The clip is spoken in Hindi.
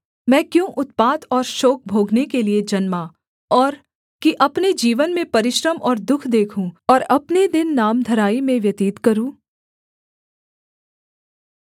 मैं क्यों उत्पात और शोक भोगने के लिये जन्मा और कि अपने जीवन में परिश्रम और दुःख देखूँ और अपने दिन नामधराई में व्यतीत करूँ